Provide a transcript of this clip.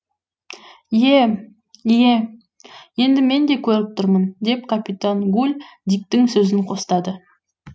ие ие енді мен де көріп тұрмын деп капитан гуль диктің сөзін қостады